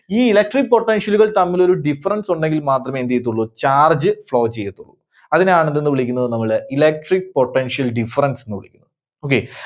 ഈ Electric potential കൾ തമ്മിലൊരു difference ഉണ്ടെങ്കിൽ മാത്രമേ എന്ത് ചെയ്യത്തുള്ളൂ Charge flow ചെയ്യത്തുള്ളൂ. അതിനെ ആണ് എന്തെന്ന് വിളിക്കുന്നത് നമ്മള് Electric potential difference ന്ന് വിളിക്കുന്നത്. okay.